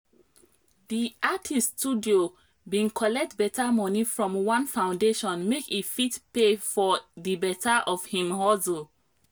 di artist studio bin collect beta money from one foundation make e fit pay for di beta of him hustle